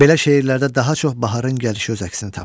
Belə şeirlərdə daha çox baharın gəlişi öz əksini tapır.